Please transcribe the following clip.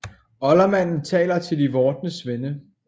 Oldermanden taler til de vordende svende